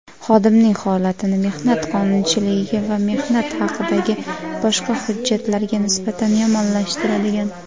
xodimning holatini mehnat qonunchiligiga va mehnat haqidagi boshqa hujjatlarga nisbatan yomonlashtiradigan;.